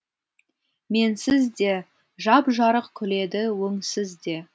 менсіз де жап жарық күледі өңсіз де